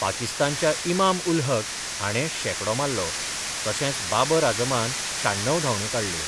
पाकिस्तानच्या ईमाम उल हक हांणे शेकडो मारलो तशेच बाबर आझमान शाण्णव धावण्यो काडल्यो.